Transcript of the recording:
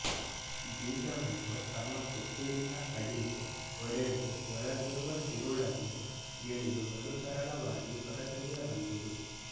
ಬೀಜವನ್ನು ತಮ್ಮ ಕೊಕ್ಕಿನಿಂದ ಕಡಿಉ ಒಡೆದು ಒಳಗಿರುವ ತಿರುಳನ್ನು ಗಿಳಿಯು ಬಲು ಸರಾಗವಾಗಿ ಹೊರತೆಗೆಯಬಲ್ಲುದು